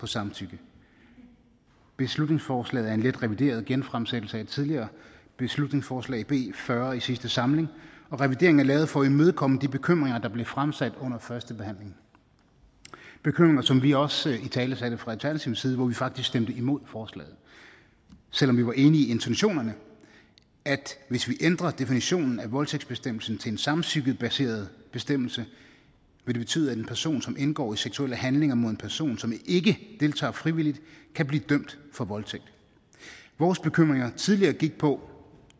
samtykke beslutningsforslaget er en lidt revideret genfremsættelse af et tidligere beslutningsforslag b fyrre i sidste samling og revideringen er lavet for at imødekomme de bekymringer der blev fremsat under første behandling bekymringer som vi også italesatte fra alternativets side hvor vi faktisk stemte imod forslaget selv om vi var enige i intentionerne at hvis vi ændrer definitionen af voldtægtsbestemmelsen til en samtykkebaseret bestemmelse vil det betyde at en person som indgår i seksuelle handlinger mod en person som ikke deltager frivilligt kan blive dømt for voldtægt vores bekymringer tidligere gik på